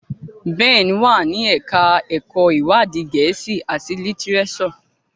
Ben wá ní ẹka ẹkọ iwadi Gèésì at litireso.